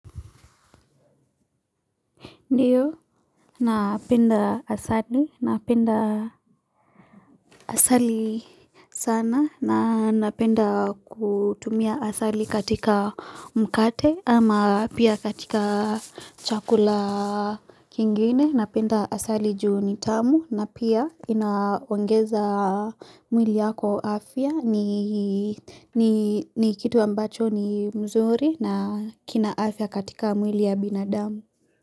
Ndiyo, napenda asali, napenda asali sana na napenda kutumia asali katika mkate ama pia katika chakula kingine, napenda asali juu nitamu na pia inaongeza mwili yako afya ni kitu ambacho ni mzuri na kina afya katika mwili ya binadamu.